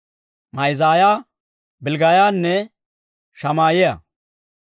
Ma'aaziyaa, Bilggaayanne Shamaa'iyaa.